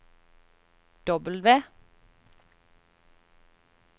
W